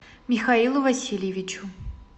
михаилу васильевичу